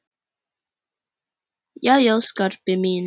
Jæja, Skarpi minn.